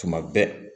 Tuma bɛɛ